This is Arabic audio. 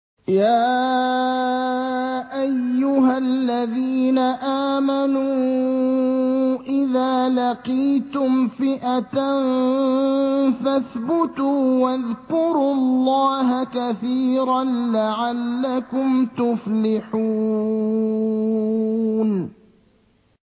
يَا أَيُّهَا الَّذِينَ آمَنُوا إِذَا لَقِيتُمْ فِئَةً فَاثْبُتُوا وَاذْكُرُوا اللَّهَ كَثِيرًا لَّعَلَّكُمْ تُفْلِحُونَ